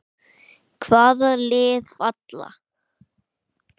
Hvaða lið falla?